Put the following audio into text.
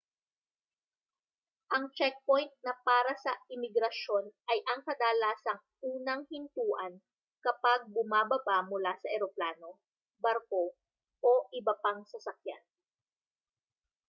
ang checkpoint na para sa imigrasyon ay ang kadalasang unang hintuan kapag bumababa mula sa eroplano barko o iba pang sasakyan